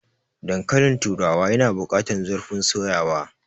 Dankalin turawa yana bukatar zurfin soyawa.